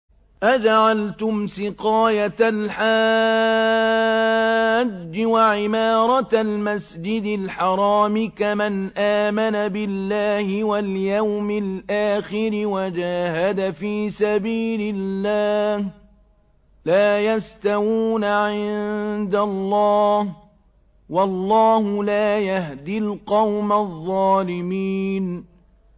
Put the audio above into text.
۞ أَجَعَلْتُمْ سِقَايَةَ الْحَاجِّ وَعِمَارَةَ الْمَسْجِدِ الْحَرَامِ كَمَنْ آمَنَ بِاللَّهِ وَالْيَوْمِ الْآخِرِ وَجَاهَدَ فِي سَبِيلِ اللَّهِ ۚ لَا يَسْتَوُونَ عِندَ اللَّهِ ۗ وَاللَّهُ لَا يَهْدِي الْقَوْمَ الظَّالِمِينَ